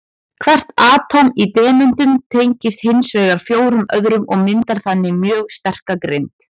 Hvert atóm í demöntum tengist hins vegar fjórum öðrum og myndar þannig mjög sterka grind.